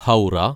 Howrah